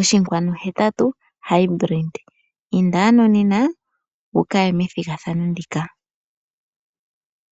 1.8 Hybrid. Inda ano nena wukaye methigathano ndika.